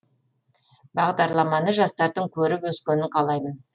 бағдарламаны жастардың көріп өскенін қалаймын